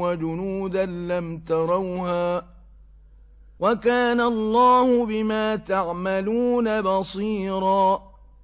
وَجُنُودًا لَّمْ تَرَوْهَا ۚ وَكَانَ اللَّهُ بِمَا تَعْمَلُونَ بَصِيرًا